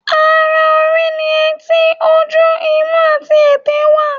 Ara orí ni etí, ojú, imú àti èté wà.